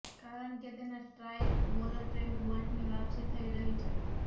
કારણ કે તેના સ્ટ્રાઇક બોલર ટ્રેન્ટ બોલ્ટની વાપસી થઇ રહી છે